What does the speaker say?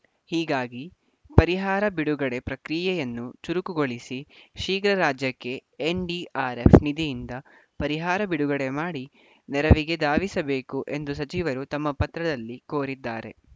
ಹೀಗಾಗಿ ಪರಿಹಾರ ಬಿಡುಗಡೆ ಪ್ರಕ್ರಿಯೆಯನ್ನು ಚುರುಕುಗೊಳಿಸಿ ಶೀಘ್ರ ರಾಜ್ಯಕ್ಕೆ ಎನ್‌ಡಿಆರ್‌ಎಫ್‌ ನಿಧಿಯಿಂದ ಪರಿಹಾರ ಬಿಡುಗಡೆ ಮಾಡಿ ನೆರವಿಗೆ ಧಾವಿಸಬೇಕು ಎಂದು ಸಚಿವರು ತಮ್ಮ ಪತ್ರದಲ್ಲಿ ಕೋರಿದ್ದಾರೆ